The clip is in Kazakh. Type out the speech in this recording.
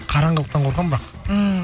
қараңғылықтан қорқамын бірақ ммм